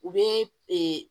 U bɛ